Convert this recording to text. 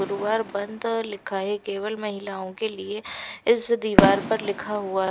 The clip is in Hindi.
गुरुवार बंद लिखा है केवल महिलाओं के लिए इस दीवार पर लिखा हुआ--